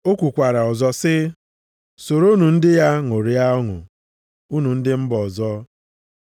O kwukwara ọzọ sị, “Soronụ ndị ya ṅụrịa ọṅụ unu ndị mba ọzọ.” + 15:10 \+xt Dit 32:43\+xt*